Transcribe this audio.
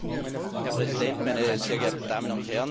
Herr Präsident, meine sehr geehrten Damen und Herren!